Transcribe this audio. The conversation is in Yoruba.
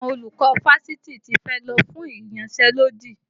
Àwọn olùkọ́ fásitì tí fẹ́ lọ fún ìyansẹ́lódì